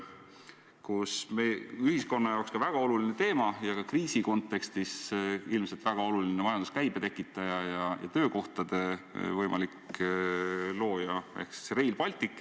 Ühiskonna jaoks väga oluline teema on Rail Baltic, mis ka kriisikontekstis ilmselt on väga oluline majanduskäibe tekitaja ja võimalik töökohtade looja.